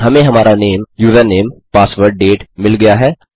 हमें हमारा नामे यूजरनेम पासवर्ड डेट मिल गया है